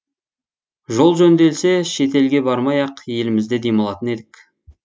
жол жөнделсе шетелге бармай ақ елімізде демалатын едік